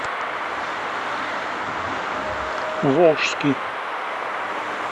волжский